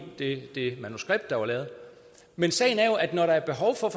det manuskript der var lavet men sagen er jo at når der er behov for